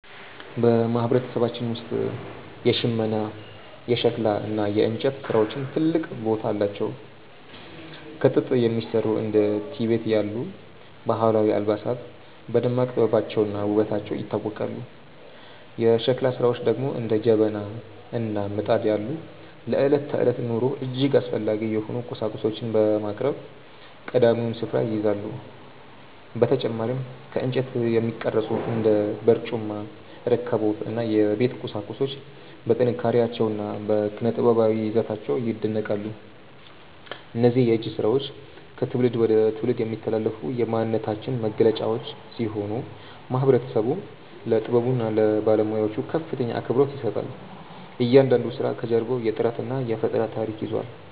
በማህበረሰባችን ውስጥ የሽመና፣ የሸክላ እና የእንጨት ስራዎች ትልቅ ቦታ አላቸው። ከጥጥ የሚሰሩ እንደ ቲቤት ያሉ ባህላዊ አልባሳት በደማቅ ጥበባቸውና ውበታቸው ይታወቃሉ። የሸክላ ስራዎች ደግሞ እንደ ጀበና እና ምጣድ ያሉ ለዕለት ተዕለት ኑሮ እጅግ አስፈላጊ የሆኑ ቁሳቁሶችን በማቅረብ ቀዳሚውን ስፍራ ይይዛሉ። በተጨማሪም ከእንጨት የሚቀረጹ እንደ በርጩማ፣ ረከቦት እና የቤት ቁሳቁሶች በጥንካሬያቸውና በኪነ-ጥበባዊ ይዘታቸው ይደነቃሉ። እነዚህ የእጅ ስራዎች ከትውልድ ወደ ትውልድ የሚተላለፉ የማንነታችን መገለጫዎች ሲሆኑ፣ ማህበረሰቡም ለጥበቡና ለባለሙያዎቹ ከፍተኛ አክብሮት ይሰጣል። እያንዳንዱ ስራ ከጀርባው የጥረትና የፈጠራ ታሪክ ይዟል።